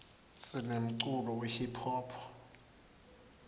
sinemculo we hiphop